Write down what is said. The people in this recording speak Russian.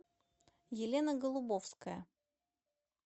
елена голубовская